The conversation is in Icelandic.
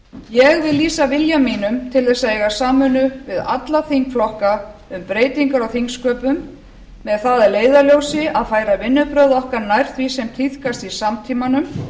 ég vil lýsa vilja mínum til þess að eiga samvinnu við alla þingflokka um breytingar á þingsköpum með það að leiðarljósi að færa vinnubrögð okkar nær því sem tíðkast í samtímanum